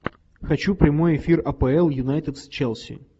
хочу прямой эфир апл юнайтед с челси